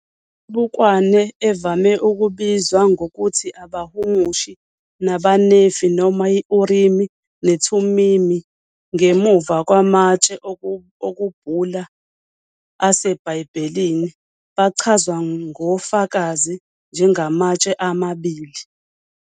Imibukwane, evame ukubizwa ngokuthi "abahumushi bamaNefi," noma "i-Urimi neThumimi," ngemuva kwamatshe okubhula aseBhayibhelini, bachazwa ngofakazi njengamatshe amabili